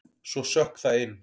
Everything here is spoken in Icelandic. Svo sökk það inn.